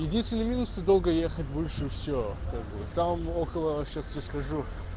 единственный минус ты долго ехать будешь и все как бы там около сейчас тебе скажу